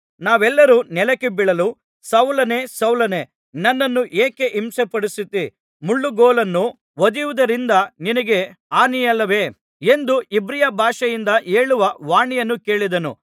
ನಾವೆಲ್ಲರು ನೆಲಕ್ಕೆ ಬೀಳಲು ಸೌಲನೇ ಸೌಲನೇ ನನ್ನನ್ನು ಏಕೆ ಹಿಂಸೆಪಡಿಸುತ್ತೀ ಮುಳ್ಳುಗೋಲನ್ನು ಒದೆಯುವುದರಿಂದ ನಿನಗೇ ಹಾನಿಯಲ್ಲವೇ ಎಂದು ಇಬ್ರಿಯ ಭಾಷೆಯಿಂದ ಹೇಳುವ ವಾಣಿಯನ್ನು ಕೇಳಿದೆನು